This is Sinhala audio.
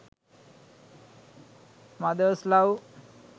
mothers love